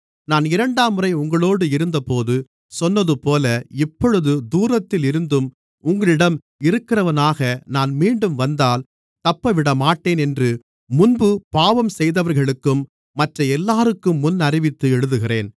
நான் இரண்டாம்முறை உங்களோடு இருந்தபோது சொன்னதுபோல இப்பொழுது தூரத்தில் இருந்தும் உங்களிடம் இருக்கிறவனாக நான் மீண்டும் வந்தால் தப்பவிடமாட்டேன் என்று முன்பு பாவம் செய்தவர்களுக்கும் மற்ற எல்லோருக்கும் முன்னறிவித்து எழுதுகிறேன்